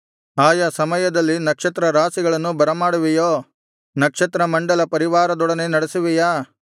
ಆಯಾ ಸಮಯದಲ್ಲಿ ನಕ್ಷತ್ರ ರಾಶಿಗಳನ್ನು ಬರಮಾಡುವೆಯೋ ನಕ್ಷತ್ರ ಮಂಡಲ ಪರಿವಾರದೊಡನೆ ನಡೆಸುವೆಯಾ